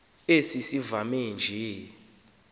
esi simamva nje